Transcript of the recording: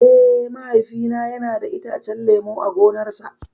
Eh, Mahaifina yana da itacen lemu a gonarsa.